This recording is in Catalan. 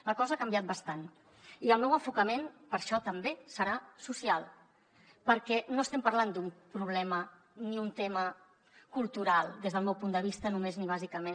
la cosa ha canviat bastant i el meu enfocament per això també serà social perquè no estem parlant d’un problema ni un tema cultural des del meu punt de vista només ni bàsicament